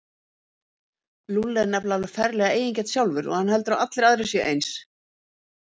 Lúlli er nefnilega alveg ferlega eigingjarn sjálfur og hann heldur að allir aðrir séu eins.